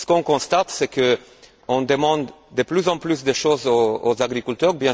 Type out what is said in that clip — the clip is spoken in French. Ce que l'on constate, c'est que l'on demande de plus en plus de choses aux agriculteurs.